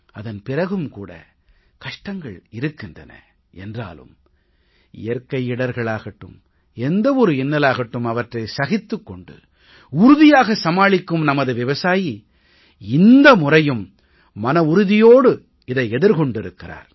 அதன் பிறகும் கூட கஷ்டங்கள் இருக்கின்றன என்றாலும் இயற்கை இடர்களாகட்டும் எந்த ஒரு இன்னலாகட்டும் அவற்றை சகித்துக் கொண்டு உறுதியாக சமாளிக்கும் நமது விவசாயி இந்த முறையும் மனவுறுதியோடு இதை எதிர்கொண்டிருக்கிறார்